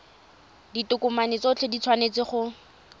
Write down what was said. ditokomane tsotlhe di tshwanetse go